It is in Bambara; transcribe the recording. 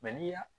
Mɛ n'i ya